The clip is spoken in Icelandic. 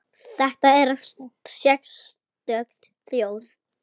Þetta er sérstök þjóð.